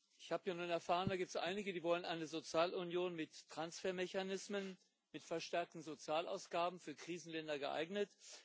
Ich habe ja nun erfahren Da gibt es einige, die wollen eine Sozialunion mit Transfermechanismen, mit verstärkten Sozialausgaben, für Krisenländer geeignet.